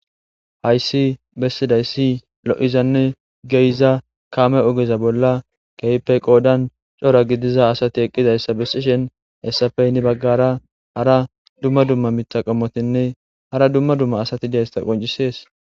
hayssi bessiday ssi lo7izanne geyiza kame ogeza bolla keype qoodan cora gidiza asati eqqidayssa bessishen hessapeynni baggara hara dumma dumma mita qommotinne hara dumma dumma asati deysta qoncisees